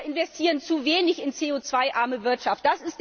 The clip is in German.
Wir investieren zu wenig in CO 2 arme Wirtschaft.